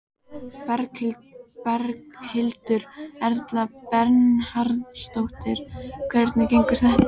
Berghildur Erla Bernharðsdóttir: Hvernig gengur þetta?